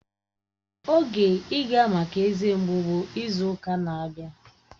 Oge ịga maka eze mgbu bụ izu ụka na-abịa